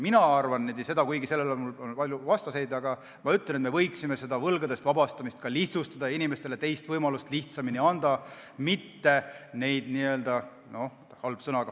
Mina arvan – kuigi siin on mul palju vastaseid –, et me võiksime võlgadest vabastamist lihtsustada ja inimestele lihtsamini ka teise võimaluse anda, mitte neid – halb sõna!